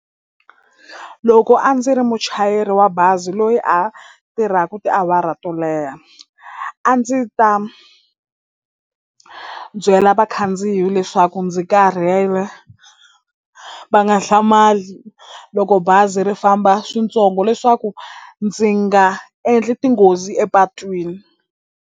Loko a ndzi ri muchayeri wa bazi loyi a tirhaku tiawara to leha a ndzi ta byela vakhandziyi leswaku ndzi karhele va nga hlamali loko bazi ri famba swintsongo leswaku ndzi nga endli tinghozi epatwini.